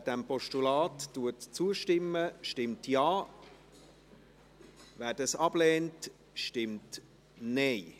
Wer dem Postulat zustimmt, stimmt Ja, wer dies ablehnt, stimmt Nein.